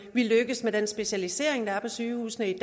vi lykkes med den specialisering der er på sygehusene i